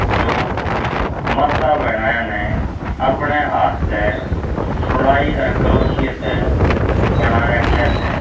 जो माता भैणाए न अपणह हाथ त सुलाई अर क्रोसिये त बणा राख्या स --